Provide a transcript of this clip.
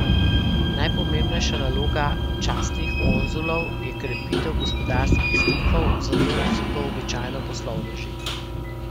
Najpomembnejša naloga častnih konzulov je krepitev gospodarskih stikov, zato so to običajno poslovneži.